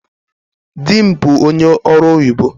Dị m bụ ónyé ọrụ oyibo